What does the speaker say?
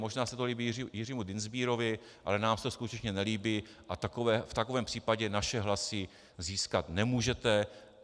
Možná se to líbí Jiřímu Dienstbierovi, ale nám se to skutečně nelíbí a v takovém případě naše hlasy získat nemůžete.